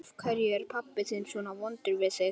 Af hverju er pabbi þinn svona vondur við þig?